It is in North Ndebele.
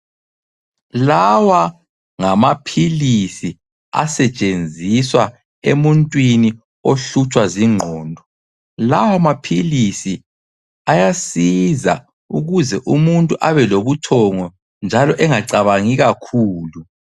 Lawa ngamaphilisi asetshenziswa emuntwini ohlutshwa zinqondo, lawa maphilisi ayasiza ukuze umuntu abelobuthongo njalo engacabangi kakhulu.